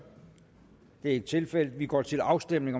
det er ikke tilfældet og vi går til afstemning